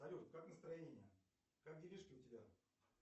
салют как настроение как делишки у тебя